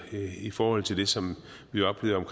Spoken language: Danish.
i forhold til det som vi oplevede